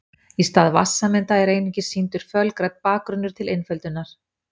Í stað vatnssameinda er einungis sýndur fölgrænn bakgrunnur til einföldunar.